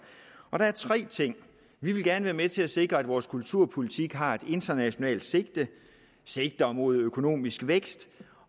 der er tre ting vi vil gerne være med til at sikre at vores kulturpolitik har et internationalt sigte sigter mod økonomisk vækst